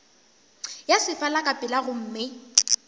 ya sefala ka pela gomme